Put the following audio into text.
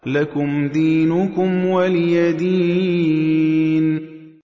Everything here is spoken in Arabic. لَكُمْ دِينُكُمْ وَلِيَ دِينِ